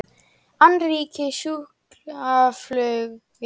Annríki í sjúkraflugi